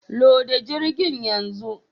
Loda jirgin yanzu